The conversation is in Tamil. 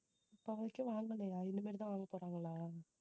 இப்ப வரைக்கும் வாங்கலையா இனிமேட்டு தான் வாங்க போறாங்களா